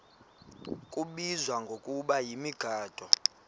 kubizwa ngokuba yimigaqo